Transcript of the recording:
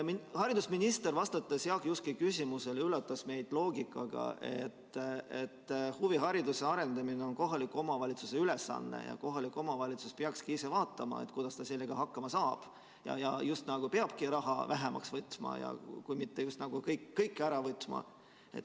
Haridusminister, vastates Jaak Juske küsimusele, üllatas meid loogikaga, et huvihariduse arendamine on kohaliku omavalitsuse ülesanne ja kohalik omavalitsus peakski ise vaatama, kuidas ta sellega hakkama saab, ja justkui peabki raha vähemaks võtma, kui mitte just kõike ära võtma.